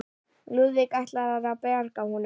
Lúðvík ætlað að bjarga honum.